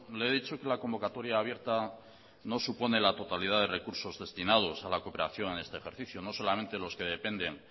le he dicho que la convocatoria abierta no supone la totalidad de recursos destinados a la cooperación en este ejercicio no solamente los que dependen